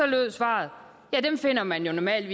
lød svaret dem finder man normalt